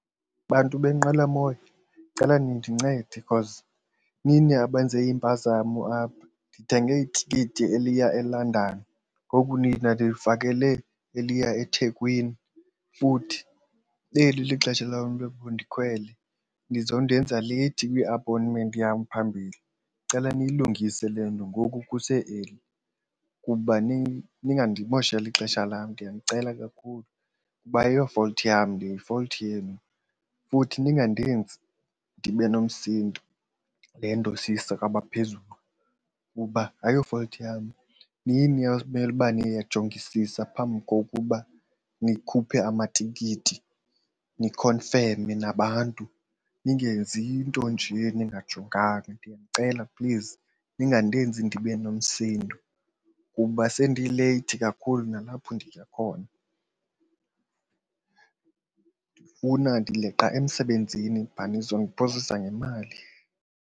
Bantu beenqwelomoya ndicela nindincede because nini abenze impazamo apha. Ndithenge itikiti eliya eLondon ngoku nina nindifakele eliya eThekwini futhi eli lixesha lam into yoba ndikhwele nizondenza leyithi kwi-appointment yam phambili. Ndicela niyilungise le nto ngoku kuse-early kuba nini. Ningandimosheli ixesha lam ndiyanicela kakhulu kuba ayiyo-fault yam le yi-fault yenu. Futhi ningandenza ndibe nomsindo le nto siyise kwabaphezulu kuba ayo-fault yam. Nini enimele uba niyajongisisa phambi kokuba nikhuphe amatikiti nikhonfeme nabantu, ningenzi iinto nje ningayijonganga. Ndiyanicela please, ningandenza ndibe nomsindo kuba sendileyithi kakhulu nalapho ndiya khona. Ndifuna, ndileqa emsebenzini nizondiphosisa ngemali.